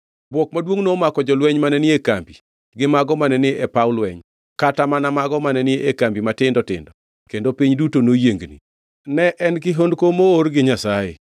Bwok maduongʼ nomako jolweny mane ni e kambi gi mago mane ni e paw lweny, kata mana mago mane ni e kambi matindo tindo kendo piny duto noyiengni. Ne en kihondko moor gi Nyasaye.